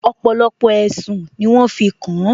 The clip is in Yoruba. Ọ̀pọ̀lọpọ̀ ẹ̀sùn ni wọ́n fi kàn